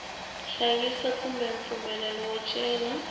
hlayisa kumbe mpfumelelo wo cela